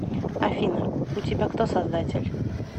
афина у тебя кто создатель